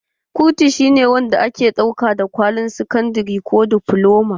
Kurutu shine wanda ake ɗauka wa da kwalin sakandare ko difloma.